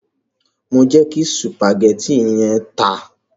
Mo jẹ kí sùpàgétì yẹn ta.